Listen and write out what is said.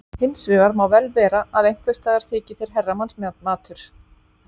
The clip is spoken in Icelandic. Hins vegar má vel vera að einhvers staðar þyki þeir herramannsmatur.